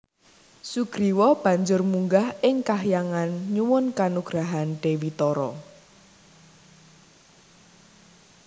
Sugriwa banjur munggah ing kahyangan nyuwun kanugrahan Dewi Tara